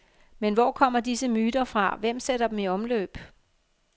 Men hvor kommer disse myter fra, hvem sætter dem i omløb?